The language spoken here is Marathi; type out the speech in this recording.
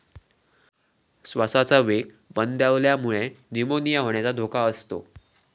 श्वासाचा वेग मंदावल्यामुळे 'न्यूमोनिया' होण्याचा धोका असतो.